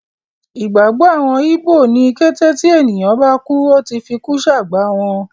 Ìgbàgbọ́ àwọn ígbò ni kété tí ènìyàn bá kú, Ó ti fikú sàgbà wọn.